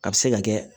A bɛ se ka kɛ